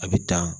A bɛ ta